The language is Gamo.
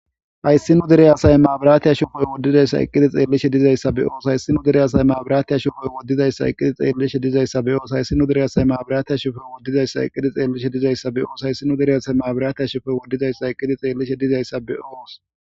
hayssi nu dereyaasay maabiraatiya shofoy woddidayssa iqqidi xeellishe dizayssa be oos hayssinu dereyasay maabiraatiya shofooy woddizayssa iqqidi xeellishe dizayssa be oos hayssino dereyasay maabiraatiya shofoy woddizayssa iqqidi xeellishe dizayssa be oos hayssinu dereyasay maabiraatiya shofoy woddizayssa iqqidi xeellishe dizayssa be oos.